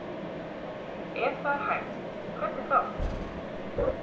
Ef það er hægt, hvernig þá?